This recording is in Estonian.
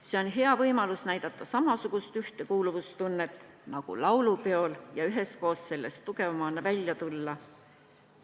See on hea võimalus näidata samasugust ühtekuuluvustunnet nagu laulupeol ja üheskoos sellest tugevamana välja tulla.